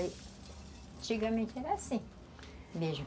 Antigamente era assim mesmo.